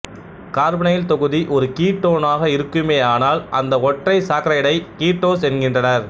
carbonyl தொகுதி ஒரு கீட்டோனாக இருக்குமேயானால் அந்த ஒற்றைச் சாக்கரைடை கீட்டோசு என்கின்றனர்